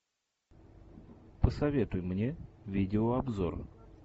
посоветуй мне видеообзор